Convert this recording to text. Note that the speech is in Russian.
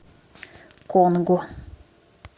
конго